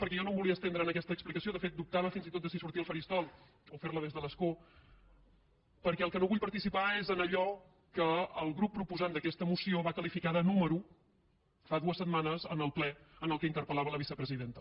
perquè jo no em volia estendre en aquesta explicació de fet dubtava fins i tot de si sortir al faristol o fer la des de l’escó perquè en el que no vull participar és en allò que el grup proposant d’aquesta moció va qualificar de número fa dues setmanes en el ple en què interpel·lava la vicepresidenta